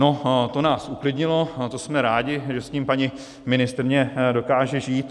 No, to nás uklidnilo, to jsme rádi, že s tím paní ministryně dokáže žít.